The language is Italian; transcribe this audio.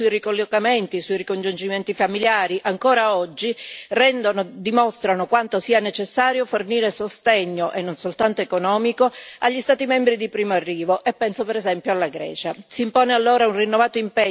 Gli insoddisfacenti dati sui ricollocamenti e sui ricongiungimenti familiari, ancora oggi, dimostrano quanto sia necessario fornire sostegno, e non soltanto economico, agli Stati membri di primo arrivo, e penso per esempio alla Grecia.